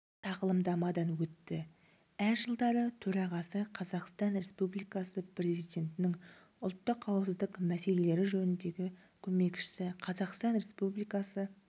тағылымдамадан өтті әр жылдары төрағасы қазақстан республикасы президентінің ұлттық қауіпсіздік мәселелері жөніндегі көмекшісі қазақстан республикасы